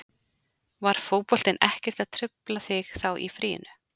Var fótboltinn ekkert að trufla þig þá í fríinu?